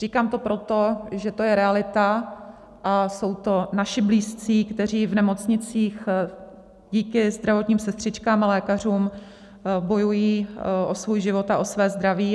Říkám to proto, že to je realita a jsou to naši blízcí, kteří v nemocnicích díky zdravotním sestřičkám a lékařům bojují o svůj život a o své zdraví.